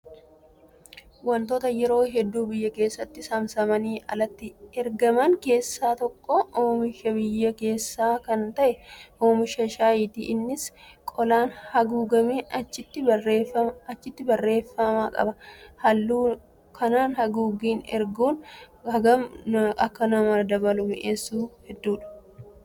Wantoota yeroo hedduu biyya keessatti saamsamanii alatti ergaman keessaa tokko oomisha biyya keessaa kan ta'e oomisha shaayiiti. Innis qolaan haguugamee achiin barreeffama qaba. Haala kanaan haguuganii erguun hagam akka sona dabalee mi'eessu hedduudha.